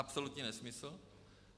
Absolutní nesmysl.